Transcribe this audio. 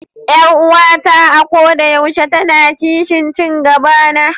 Yar uwata a koda yaushe tana kishin ci gabana.